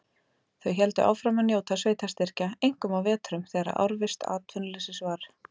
Þau héldu áfram að njóta sveitarstyrkja, einkum á vetrum, þegar árvisst atvinnuleysi var.